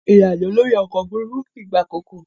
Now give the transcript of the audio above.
Irin-ajo lori ọkọ ofurufu kii gba akoko.